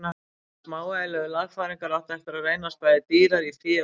Þessar smávægilegu lagfæringar áttu eftir að reynast bæði dýrar í fé og tíma.